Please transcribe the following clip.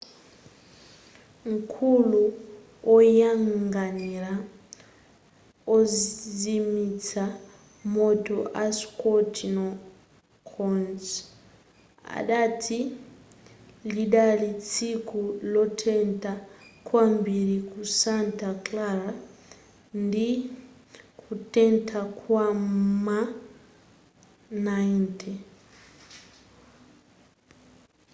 mkulu oyang'anira ozimitsa moto a scott kouns adati lidali tsiku lotentha kwambiri ku santa clara ndi kutentha kwa m'ma 90